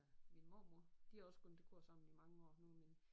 Min mormor de har også gået til kor sammen i mange år nu er min